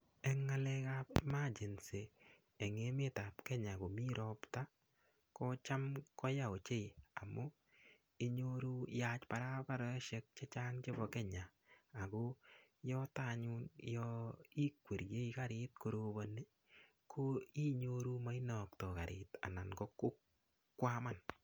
Eng ngalek ab emergency eng emet ab Kenya komi ropta ko cham koya ochei amu inyoru yaach barabarosiek che chang chebo Kenya ago yoto anyun yo ikwerie karit koroboni ko inyoru mainoktoi karit anan kokwaman.